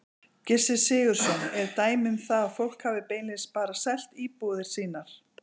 Gissur Sigurðsson: Eru dæmi um það að fólk hafi beinlínis bara selt íbúðir sínar?